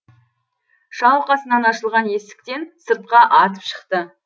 шалқасынан ашылған есіктен сыртқа атып шықты